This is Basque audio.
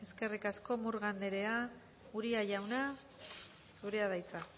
eskerrik asko murga andrea uria jauna zurea da hitza